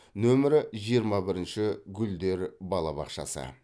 нөмірі жиырма бірінші гүлдер балабақшасы